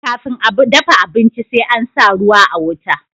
kafin a dafa abinci sai an sa ruwa a wuta